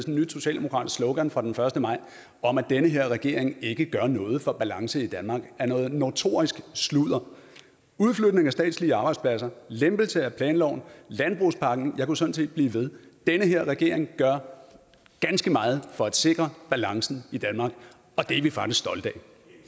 et nyt socialdemokratisk slogan fra den første maj at den her regering ikke gør noget for balancen i danmark er noget notorisk sludder udflytning af statslige arbejdspladser lempelse af planloven landbrugspakken jeg kunne sådan set blive ved den her regering gør ganske meget for at sikre balancen i danmark og det er vi faktisk stolte